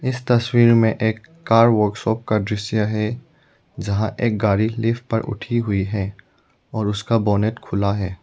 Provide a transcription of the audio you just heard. इस तस्वीर में एक कार वर्कशॉप का दृश्य है जहां एक गाड़ी लिफ्ट पर उठी हुई है और उसका बोनट खुला है।